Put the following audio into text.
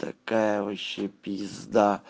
ткакая вообще пизда